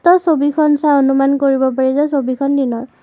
উক্ত ছবিখন চাই অনুমান কৰিব পাৰি যে ছবিখন দিনৰ।